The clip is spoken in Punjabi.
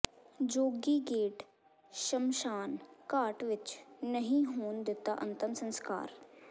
ਜੋਗੀ ਗੇਟ ਸ਼ਮਸ਼ਾਨ ਘਾਟ ਵਿਚ ਨਹੀਂ ਹੋਣ ਦਿਤਾ ਅੰਤਮ ਸਸਕਾਰ